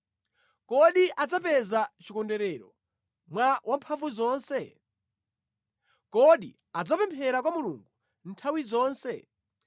Kodi adzapeza chikondwerero mwa Wamphamvuzonse? Kodi adzapemphera kwa Mulungu nthawi zonse?